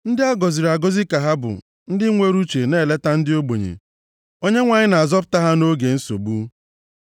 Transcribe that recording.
Ndị a gọziri agọzi ka ha bụ ndị nwere uche na-eleta ndị ogbenye; Onyenwe anyị na-azọpụta ha nʼoge nsogbu.